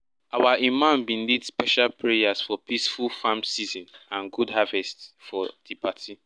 our imam bin lead special prayers for peaceful farmng season and good harvest for di party